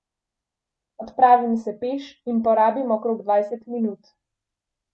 Odpravim se peš in porabim okrog dvajset minut.